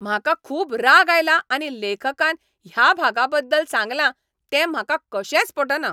म्हाका खूब राग आयला आनी लेखकान ह्या भागा बद्दल सांगलां तें म्हाका कशेंच पटना.